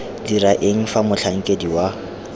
dira eng fa motlhankedi wa